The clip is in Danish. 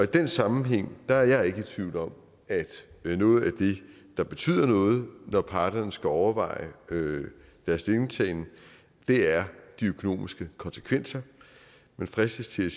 den sammenhæng er jeg ikke i tvivl om at noget af det der betyder noget når parterne skal overveje deres stillingtagen er de økonomiske konsekvenser man fristes til